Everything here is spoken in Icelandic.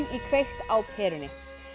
í kveikt á perunni